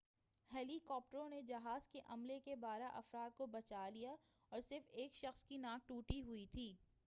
ہیلی کاپٹروں نے جہاز کے عملے کے بارہ افراد کو بچا لیا اور صرف ایک شخص کی ناک ٹوٹی تھی